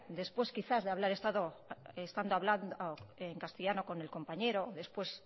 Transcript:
después quizá de haber estado hablando en castellano con el compañero después